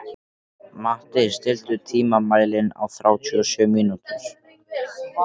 Matti, stilltu tímamælinn á þrjátíu og sjö mínútur.